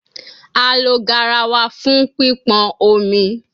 A lo garawa fun pipon omi